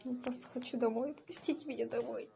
я просто хочу домой отпустите меня домой